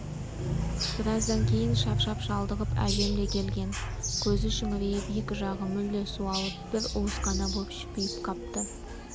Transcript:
біраздан кейін шаршап-шалдығып әжем де келген көзі шүңірейіп екі жағы мүлде суалып бір уыс қана боп шүпиіп қапты